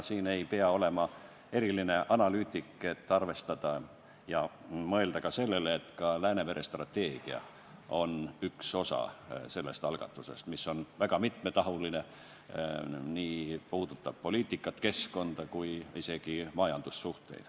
Ei pea olema eriline analüütik, et arvestada ja mõelda sellele, et ka Läänemere strateegia on üks osa sellest algatusest – see on väga mitmetahuline, puudutab nii poliitikat, keskkonda kui ka majandussuhteid.